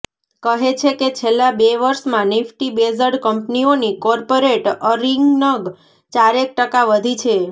કહે છે કે છેલ્લા બે વર્ષમાં નિફટી બેઝડ કંપનીઓની કોર્પોરેટ અર્િનગ ચારેક ટકા વધી છે